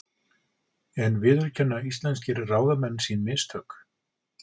En viðurkenna íslenskir ráðamenn sín mistök?